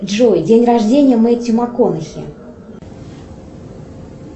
джой день рождения мэтью макконнахи